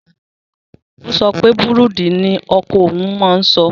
Ó ó sopé bùrúndì nii oko ohun n má n so.